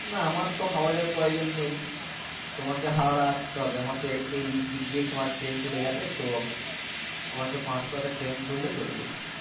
না আমার তো হাওড়া যাবার প্রয়োজন নেই তোমাকে হাওড়া আস্তে হবে আমের তো এই দিক দিয়ে তো train চলে যাবে তো আমাকে পাঁচ কুয়া তে train ধরলে চলবে।